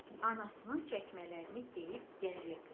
Anasının çəkmələrini geyib gəzirdi.